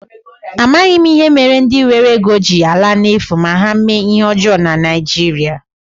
Amaghị m ihe mere ndi nwere ego ji ala n'efu ma ha mee ihe ọjọọ na Naijiria.